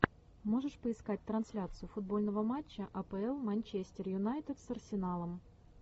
можешь поискать трансляцию футбольного матча апл манчестер юнайтед с арсеналом